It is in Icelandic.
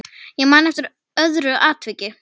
Ég man eftir öðru atviki.